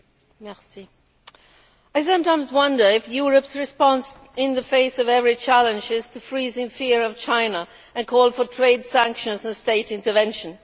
Madam President, I sometimes wonder if Europe's response in the face of every challenge is to freeze in fear of China and call for trade sanctions and state intervention.